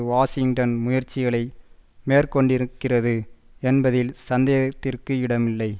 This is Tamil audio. வாஷிங்டன் முயற்சிகளை மேற்கொண்டிருக்கிறது என்பதில் சந்தேகத்திற்கு இடமில்லை